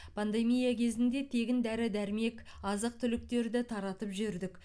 пандемия кезінде тегін дәрі дәрмек азық түліктерді таратып жүрдік